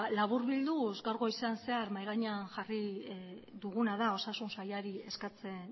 laburbilduz gaur goizean zehar mahai gainean jarri duguna da osasun sailari eskatzen